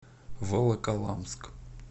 волоколамск